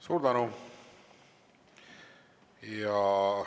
Suur tänu!